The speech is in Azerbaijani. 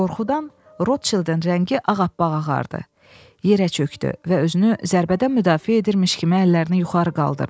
Qorxudan Rotşildin rəngi ağappağ ağardı, yerə çöktü və özünü zərbədən müdafiə edirmiş kimi əllərini yuxarı qaldırdı.